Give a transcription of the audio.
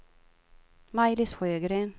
Maj-Lis Sjögren